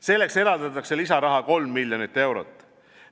Selleks eraldatakse lisaraha kolm miljonit eurot.